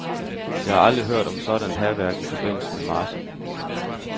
Jeg har aldrig hørt om sådant hærværk i forbindelse med marchen.